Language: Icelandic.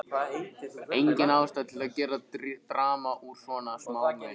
Engin ástæða til að gera drama úr svona smámunum.